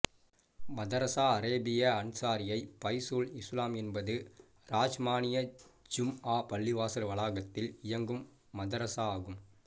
மதரசா அரேபியா அன்சாரியை பைசுல் இசுலாம் என்பது ரஹ்மானியா ஜும்ஆ பள்ளிவாசல் வளாகத்தில் இயங்கும் மதரசா ஆகும்